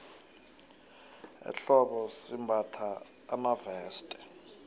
ehlobo simbatha amaveste